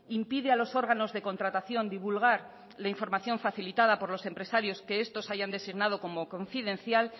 impide a los órganos de contratación divulgar la información facilitada por los empresarios que estos hayan designados como confidencial